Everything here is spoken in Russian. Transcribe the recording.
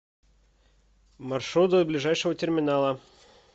маршрут до ближайшего терминала